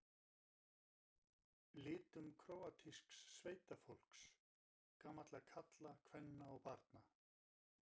litum króatísks sveitafólks, gamalla karla, kvenna og barna.